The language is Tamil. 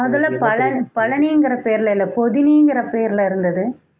முதல்ல பழ~ பழனிங்கிற பெயர்ல இல்ல பொதினிங்கற பெயர்ல இருந்தது